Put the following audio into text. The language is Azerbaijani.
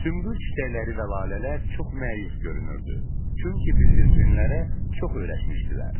Sümbül çiçəkləri və lalələr çox məyus görünürdü, çünki bildirçinlərə çox öyrəşmişdilər.